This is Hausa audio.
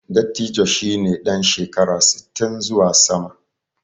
Dattijo shi ne ɗan shekara sittin zuwa sama.